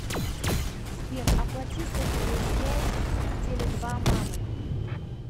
сбер оплати сотовую связь теле два мамы